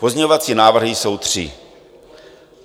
Pozměňovací návrhy jsou tři.